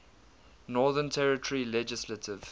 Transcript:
northern territory legislative